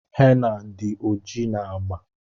henna did oji na agba.